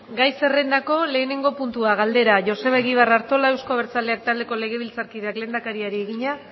gai zerrendako lehenengo puntua galdera joseba egibar artola euzko abertzaleak taldeko legebiltzarkideak lehendakariari egina